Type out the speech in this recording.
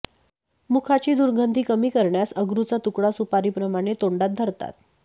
मुखाची दरुगधी कमी करण्यास अगरूचा तुकडा सुपारीप्रमाणे तोंडात धरतात